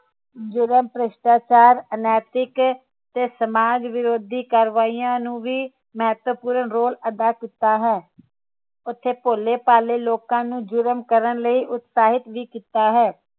ਜ਼ੁਰਮ ਭ੍ਰਿਸ਼ਟਾਚਾਰ ਅਨੈਤਿਕ ਤੇ ਸਮਾਜ ਵਿਰੋਧੀ ਕਾਰਵਾਈਆਂ ਨੂੰ ਵੀ ਮਹਤਵਪੂਰਨ role ਅਦਾ ਕੀਤਾ ਹੈ ਉਥੇ ਭੋਲੇ ਭਾਲੇ ਲੋਕਾਂ ਨੂੰ ਜੁਰਮ ਕਰਨ ਲਈ ਉਤਸਾਹਿਤ ਵੀ ਕੀਤਾ ਹੈ